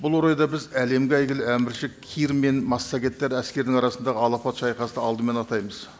бұл орайда біз әлемге әйгілі әмірші кир мен массагеттер әскердің арасындағы алапат шайқасты алдымен атаймыз